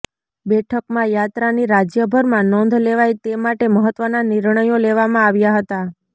બેઠકમાં યાત્રા ની રાજયભરમાં નોંધ લેવાય તે માટે મહત્વના નિર્ણયો લેવામાં આવ્યા હતા